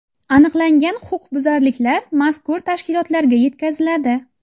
Aniqlangan huquqbuzarliklar mazkur tashkilotlarga yetkaziladi.